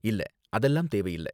இல்ல, அதெல்லாம் தேவையில்ல.